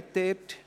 Wer spricht?